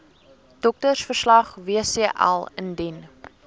doktersverslag wcl indien